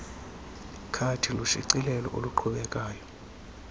khadi lushicilelo oluqhubekayo